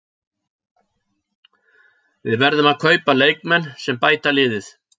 Við verðum að kaupa leikmenn sem bæta liðið.